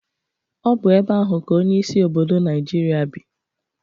Ọ bụ ebe ahụ ka onyeisi obodo Naịjirịa bii.